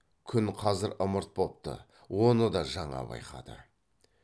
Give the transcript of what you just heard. күн қазір ымырт бопты оны да жаңа байқады